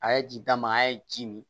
A ye ji d'a ma a ye ji mi